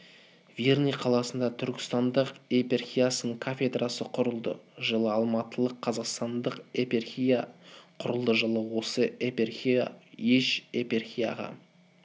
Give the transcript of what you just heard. верный қаласында түркістандық епархиясының кафедрасы құрылды жылы алматылық-қазақстандық епархия құрылды жылы осы епархия үш епархияға